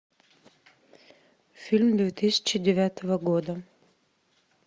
фильм две тысячи девятого года